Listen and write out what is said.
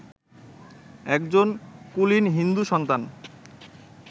একজন কুলীন হিন্দু-সন্তান